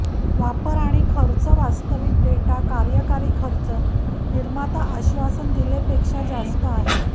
वापर आणि खर्च वास्तविक डेटा कार्यकारी खर्च निर्माता आश्वासन दिले पेक्षा जास्त असेल